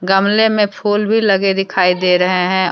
गमले में फूल भी लगे दिखाई दे रहे हैं।